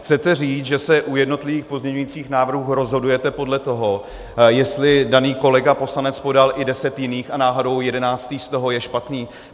Chcete říct, že se u jednotlivých pozměňujících návrhů rozhodujete podle toho, jestli daný kolega poslanec podal i deset jiných a náhodou jedenáctý z toho je špatný?